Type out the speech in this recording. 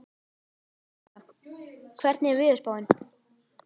Sossa, hvernig er veðurspáin?